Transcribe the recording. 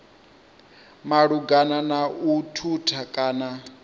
malugana na u thutha kana